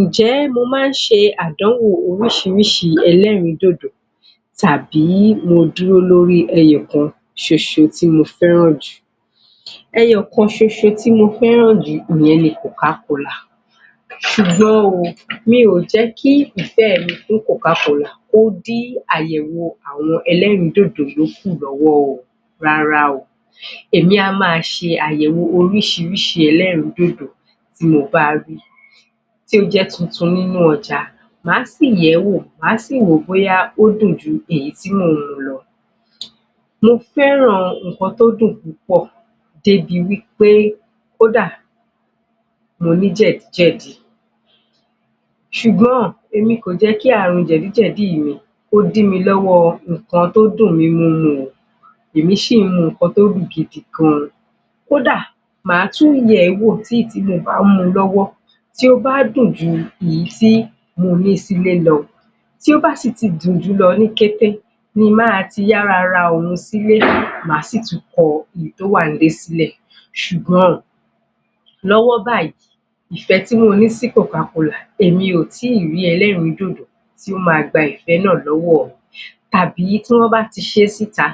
Ǹjẹ́ mo máa ń ṣe àdánwò oríṣiríṣi ẹlẹ́rìídòdò tàbí mo dúró lórí ẹyọ kan tí ṣoṣọ tí mo fẹ́ràn jù ẹyọ kan tí ṣoṣọ tí mo fẹ́ràn jù ìyẹn ni coca cola ṣùgbọ́n o, mi ò jẹ́ kí ìfẹ́ mi fún coca cola kó dí àyẹwò àwọn ẹlẹ́rìídòdò yóókù lọ́wọ́ o rárá o Èmi á máa ṣe àyẹ̀wò oríṣiríṣị ẹlẹ́rìídódó tí mo bá rí tí ó jẹ́ tuntun nínú ọjà, màá sì yẹ̀ẹ́ wò, máa sì wò bóyá ó dùn ju èyí tí mò ń mu lọ Mo fẹ́ràn nǹkan tó dùn púpọ̀ dé bi wí pé kódà, mo ní jẹ̀díjẹ̀dí ṣùgbọn, èmi kò jẹ́ kí àrùn jẹ̀díjẹ̀dí yìí kó dí mi lọ́wọ́ nǹkan tó dùn nínú mi èmi ṣì ń mu nǹkan tó dùn gidi gan kó dà, màá tún yẹ̀ẹ́ wò tí èyí tí mo bá ń mu lọ́wọ́ tí ó bá dùn ju èyí tí mo ní sí ilé lọ tí ó bá sì ti dùn jùú lọ ní kété ni máa ti yára ra òun sílé, màá sì tún kọ èyí tó wà ní ilé sílẹ̀ ṣùgbọ́n lọ́wọ́ báyìí, ìfẹ́ tí mo ní sí coca cola èmi ò ti rí ẹlẹ́rìídòdò tó máa gba ìfẹ́ náà lọ́wọ́ mi tàbí tí wọ́n bá ti ṣe sí ìta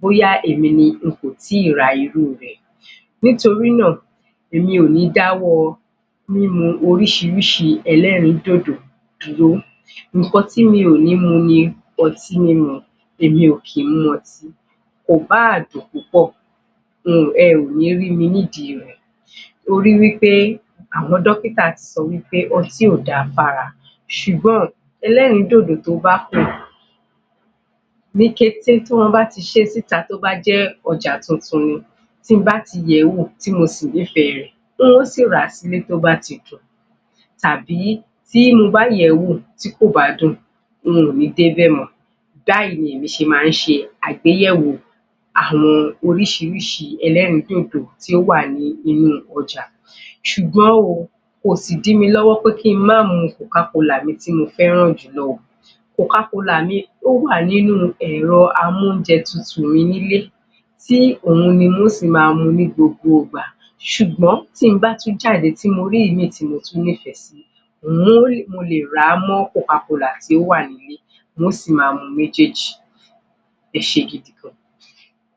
bóyá èmi ni n kò tí ì ra irú rẹ̀ Nítorí náà, èmí kò ní dá ọwọ́ mímu oríṣiríṣi ẹlẹ́rìíndòdò dúró. Nǹkan tí mi ò ni mu ni ọtí, èmi ò kí ń mu ọtí kò bá à dùn púpọ̀ ẹ ò ní rí mi nídi rẹ̀ torí wí pé àwọn dọ́kítà ti sọ pé ọtí ò da fún ara ṣùgbọ́n ẹlẹ́rìídòdò tó bá dùn Ní kété tí wọ́n bá ti ṣe síta tó bá jẹ́ ọjà tuntun ni tí mo bá ti yẹ̀ẹ́ wò tí mo sì ní ìfẹ́ rẹ̀ n ó sì rà sílé tó bá ti dùn tàbí tí mo bá yẹ̀ẹ́ wò tí kò bá dùn n ò ní dé bẹ̀ mọ́ Báyìí ni èmi ṣe máa ń ṣe àgbéyẹ̀wò àwọn oríṣiríṣi ẹlẹ́rìídòdò tí ó wà ní inú ọjà ṣùgbọ́n o, kò sì dí mi lọ́wọ́ pé kí n má mu coca cola mi tí mo fẹ́ràn jù lọ o, coca cola mi ó wà nínú ẹ̀rọ amóúnjẹtutù mi ní ilé tí òun ni n ó sì máa mu ní gbogbo ìgbà. ṣùgbọ́n tí n bá tún jáde tí mo rí ìmíì tí mo tún nífẹ̀ẹ́ sí mo lè ràá mọ́ coca cola tí ó wà ní ilé n ó sì máa mu méjèèjì